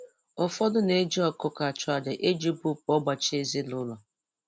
Ụfọdụ na-eji ọkụkọ achụ aja iji bupu ọgbachi ezinụlọ